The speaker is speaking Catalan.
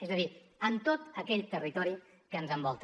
és a dir amb tot aquell territori que ens envolta